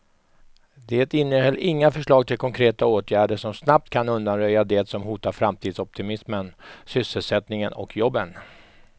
Det innehöll inga förslag till konkreta åtgärder som snabbt kan undanröja det som hotar framtidsoptimismen, sysselsättningen och jobben.